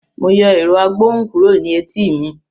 Mo yọ ẹ̀rọ-agbohùn kúrò ní etí mi.